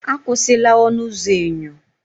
Akwụsịla ọnụ ụzọ enyo!